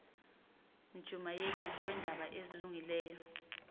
mjumayeli weendaba ezilungileyo